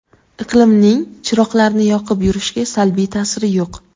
Iqlimning chiroqlarni yoqib yurishga salbiy ta’siri yo‘q.